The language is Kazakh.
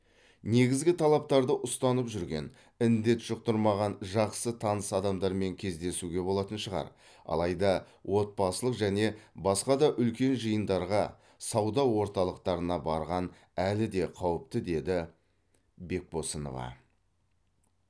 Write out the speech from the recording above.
негізгі талаптарды ұстанып жүрген індет жұқтырмаған жақсы таныс адамдармен кездесуге болатын шығар алайда отбасылық және басқа да үлкен жиындарға сауда орталықтарына барған әлі де қауіпті деді бекбосынова